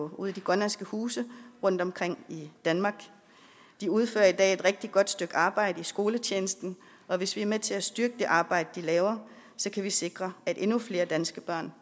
det grønlandske hus rundtomkring i danmark der udfører de i dag et rigtig godt stykke arbejde i skoletjenesten og hvis vi er med til at styrke det arbejde de laver kan vi sikre at endnu flere danske børn